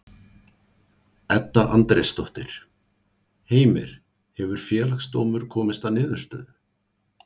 Edda Andrésdóttir: Heimir, hefur Félagsdómur komist að niðurstöðu?